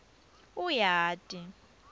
uyati